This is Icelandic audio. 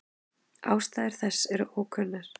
Ástæður þess eru enn ókunnar.